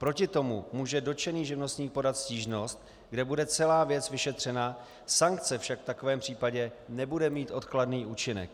Proti tomu může dotčený živnostník podat stížnost, kde bude celá věc vyšetřena, sankce však v takovém případě nebude mít odkladný účinek.